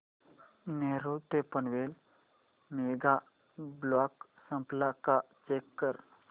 नेरूळ ते Panvel mega block संपला का चेक कर